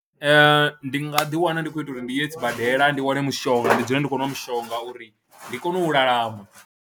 Ee, ndi nga ḓiwana ndi khou ita uri ndi ye sibadela ndi wane mushonga, ndi dzule ndi khou nwa mushonga uri ndi kone u lalama.